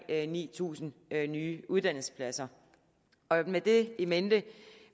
ni tusind nye uddannelsespladser med det in mente